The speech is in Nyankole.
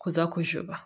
kuza kujuba.